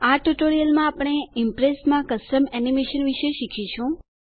આ ટ્યુટોરીયલમાં આપણે ઈમ્પ્રેસમાં કસ્ટમ એનિમેશન વિશે શીખીશું